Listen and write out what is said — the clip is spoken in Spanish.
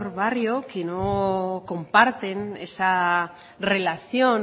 barrio que no comparten esa relación